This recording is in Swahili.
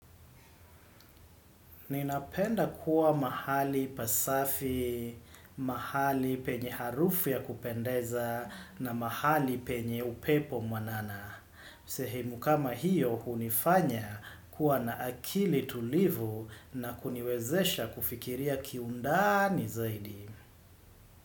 Ninapenda kuwa mahali pasafi, mahali penye harufu ya kupendeza na mahali penye upepo mwanana. Sehemu kama hiyo hunifanya kuwa na akili tulivu na kuniwezesha kufikiria kiundani zaidi.